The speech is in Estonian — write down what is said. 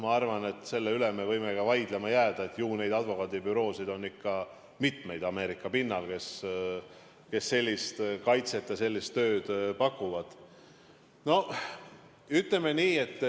Ma arvan, et selle üle me võimegi vaidlema jääda, ju neid advokaadibüroosid on Ameerika pinnal ikka mitmeid, kes sellist kaitset ja sellist tööd pakuvad.